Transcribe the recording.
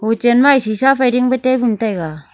Pichenma ee sisa phai dingpe table taiga.